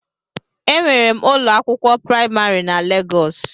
Enwere m ụlọ akwụkwọ praimarị na Legọs